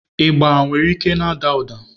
Ịgba nwere ike na-ada ụda.